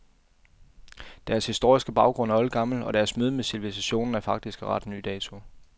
Deres historiske baggrund er oldgammel, og deres møde med civilisatiionen er faktisk af ret ny dato.